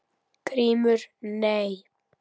GRÍMUR: Nei?